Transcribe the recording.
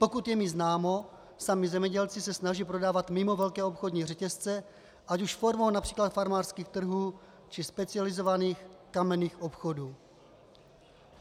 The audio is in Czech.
Pokud je mi známo, sami zemědělci se snaží prodávat mimo velké obchodní řetězce, ať už formou například farmářských trhů, či specializovaných kamenných obchodů.